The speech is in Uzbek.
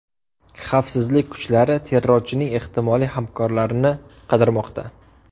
Xavfsizlik kuchlari terrorchining ehtimoliy hamkorlarini qidirmoqda.